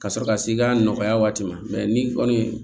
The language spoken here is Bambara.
Ka sɔrɔ ka se i ka nɔgɔya waati ma ni kɔni